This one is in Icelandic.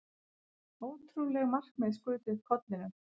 Ótrúleg markmið skutu upp kollinum.